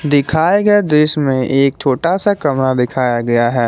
दिखाए गए दृश्य में एक छोटा सा कमरा दिखाया गया है।